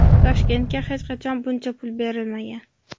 Toshkentga hech qachon buncha pul berilmagan.